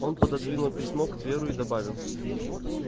он пододвинул письмо к тверу и добавил